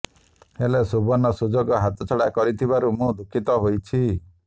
ହେଲେ ସୁବର୍ଣ୍ଣ ସୁଯୋଗ ହାତଛଡ଼ା କରିଥିବାରୁ ମୁଁ ଦୁଃଖିତ ହୋଇଛି